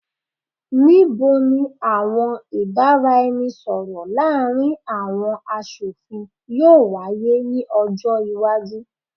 Nibo ni awọn ibaraẹnisọrọ laarin awọn aṣofin yoo waye ni ọjọ iwaju?